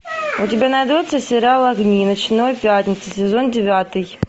у тебя найдется сериал огни ночной пятницы сезон девятый